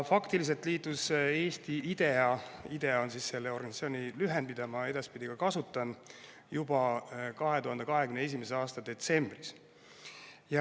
Faktiliselt liitus Eesti IDEA‑ga – IDEA on selle organisatsiooni lühend, mida ma ka edaspidi kasutan – juba 2021. aasta detsembris.